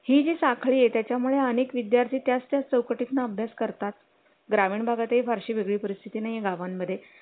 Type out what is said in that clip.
आणि करायला समजतच नाही आणि शाळा हल्ली एवढ्या लहान मुलांची पण शाळा असते तीन-साडेतीन वर्षाच्या मुलांची पण हल्ली स्कूल चालू झाली आहे त्यामुळे